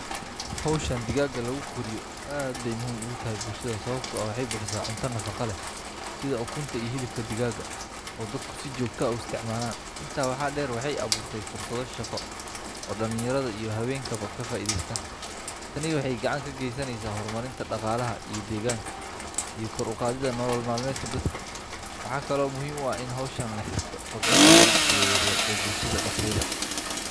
Hawshan digaagga lagu koriyo aad bay muhiim ugu tahay bulshada sababtoo ah waxay bixisaa cunto nafaqo leh sida ukunta iyo hilibka digaagga oo dadku si joogto ah u isticmaalaan. Intaa waxaa dheer, waxay abuurtay fursado shaqo oo dhalinyarada iyo haweenkaba ka faa’iidaysteen. Tani waxay gacan ka geysanaysaa horumarinta dhaqaalaha deegaanka iyo kor u qaadidda nolol maalmeedka dadka. Waxaa kale oo muhiim ah in hawshan la xiriirto kobcinta ganacsiga yar yar ee bulshada dhexdeeda.